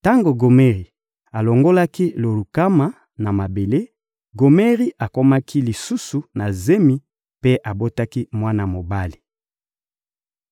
Tango Gomeri alongolaki Lo-Rukama na mabele, Gomeri akomaki lisusu na zemi mpe abotaki mwana mobali.